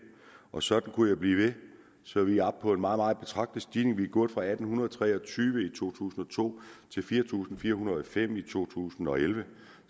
og sådan kunne jeg blive ved så vi er oppe på en meget meget betragtelig stigning vi er gået fra atten tre og tyve i to tusind og to til fire tusind fire hundrede og fem i to tusind og elleve